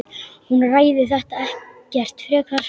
Hún ræðir þetta ekkert frekar.